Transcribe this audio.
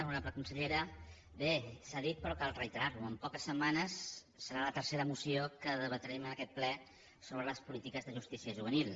honorable consellera bé s’ha dit però cal reiterar ho en poques setmanes serà la tercera moció que debatrem en aquest ple sobre les polítiques de justícia juvenil